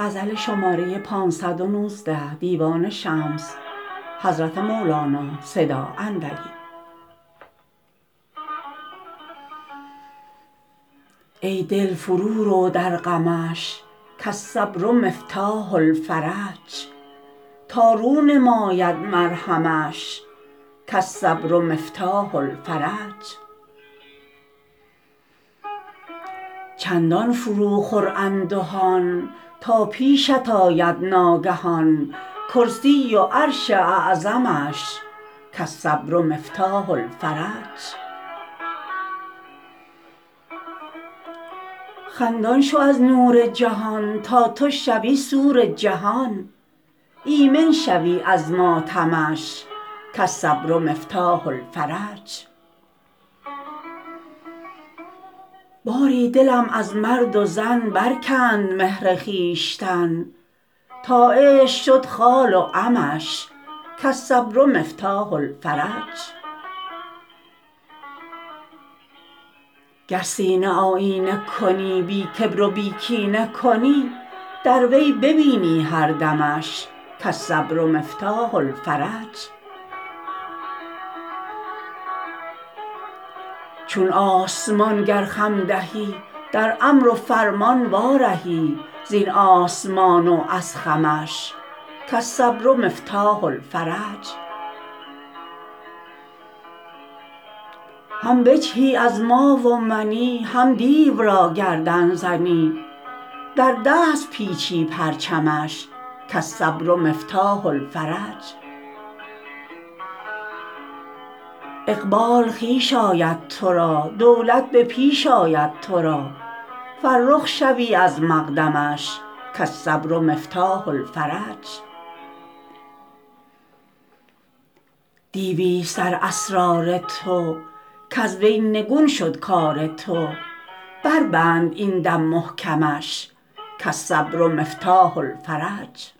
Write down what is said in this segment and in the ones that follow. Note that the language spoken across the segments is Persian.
ای دل فرو رو در غمش کالصبر مفتاح الفرج تا رو نماید مرهمش کالصبر مفتاح الفرج چندان فرو خور اندهان تا پیشت آید ناگهان کرسی و عرش اعظمش کالصبر مفتاح الفرج خندان شو از نور جهان تا تو شوی سور جهان ایمن شوی از ماتمش کالصبر مفتاح الفرج باری دلم از مرد و زن برکند مهر خویشتن تا عشق شد خال و عمش کالصبر مفتاح الفرج گر سینه آیینه کنی بی کبر و بی کینه کنی در وی ببینی هر دمش کالصبر مفتاح الفرج چون آسمان گر خم دهی در امر و فرمان وا رهی زین آسمان و از خمش کالصبر مفتاح الفرج هم بجهی از ما و منی هم دیو را گردن زنی در دست پیچی پرچمش کالصبر مفتاح الفرج اقبال خویش آید تو را دولت به پیش آید تو را فرخ شوی از مقدمش کالصبر مفتاح الفرج دیوی ست در اسرار تو کز وی نگون شد کار تو بر بند این دم محکمش کالصبر مفتاح الفرج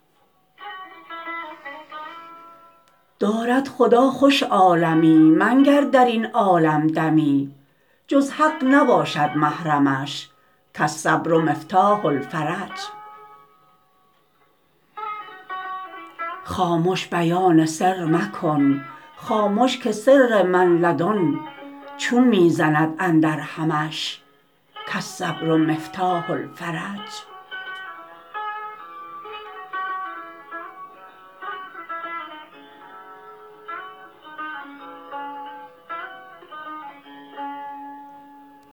دارد خدا خوش عالمی منگر در این عالم دمی جز حق نباشد محرمش کالصبر مفتاح الفرج خامش بیان سر مکن خامش که سر من لدن چون می زند اندرهمش کالصبر مفتاح الفرج